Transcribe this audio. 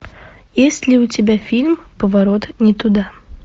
есть ли у тебя фильм поворот не туда